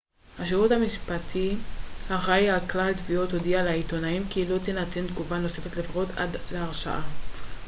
השירות המשפטי האחראי על כלל תביעות הודיע לעיתונאים כי לא תינתן תגובה נוספת לפחות עד להרשעה